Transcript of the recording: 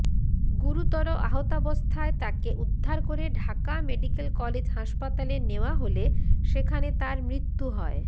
গুরুতর আহতাবস্থায় তাকে উদ্ধার করে ঢাকা মেডিকেল কলেজ হাসপাতালে নেওয়া হলে সেখানে তার মৃত্যু হয়